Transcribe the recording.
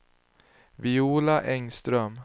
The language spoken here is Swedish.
Viola Engström